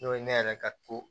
N'o ye ne yɛrɛ ka to